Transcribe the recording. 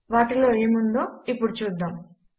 వాటిలో ఏమి ఉన్నదో ఇప్పుడు చూద్దాము